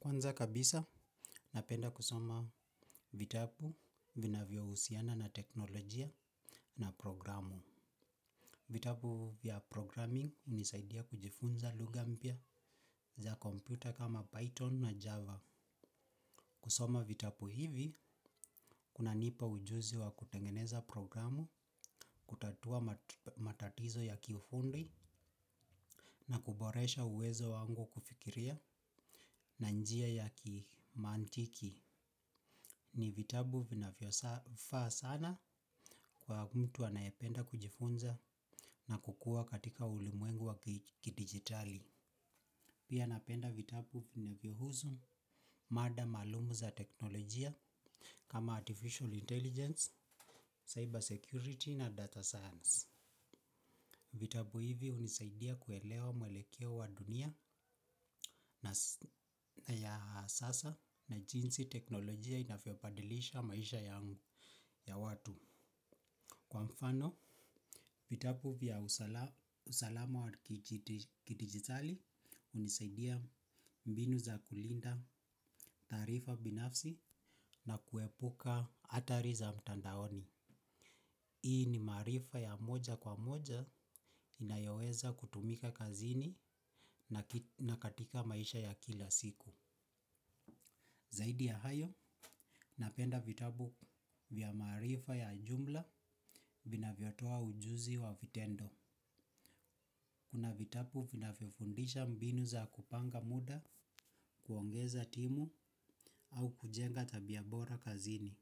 Kwanza kabisa, napenda kusoma vitabu, vinavyohusiana na teknolojia na programu. Vitabu vya 'programming' hunisaidia kujifunza lugha mpya za kompyuta kama Python na Java. Kusoma vitabu hivi, kunanipa ujuzi wa kutengeneza programu, kutatua matatizo ya kiufundi na kuboresha uwezo wangu wa kufikiria na njia ya kimantiki. Ni vitabu vinavyofaa sana kwa mtu anayependa kujifunza na kukua katika ulimwengu wa kidigitali. Pia napenda vitabu vinavyohusu mada maalum za teknolojia kama 'Artificial Intelligence', 'Cyber Security' na 'Data Science'. Vitabu hivi hunisaidia kuelewa muelekeo wa dunia ya sasa na jinsi teknolojia inavyobadilisha maisha yangu ya watu. Kwa mfano, vitabu vya usalama wa kidigitali hunisaidia mbinu za kulinda taarifa binafsi na kuepuka hatari za mtandaoni. Hii ni maarifa ya moja kwa moja inayoweza kutumika kazini na katika maisha ya kila siku. Zaidi ya hayo, napenda vitabu vya maarifa ya jumla vinavyotoa ujuzi wa vitendo. Kuna vitabu vinavyofundisha mbinu za kupanga muda, kuongeza timu au kujenga tabia bora kazini.